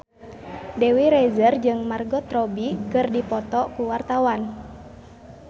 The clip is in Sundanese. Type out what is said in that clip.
Dewi Rezer jeung Margot Robbie keur dipoto ku wartawan